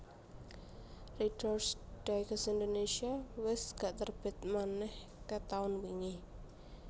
Readers Digest Indonesia wes gak terbit maneh ket taun wingi